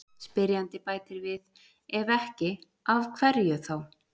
Spyrjandi bætir við: Ef ekki, af hverju þá?